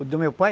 O do meu pai?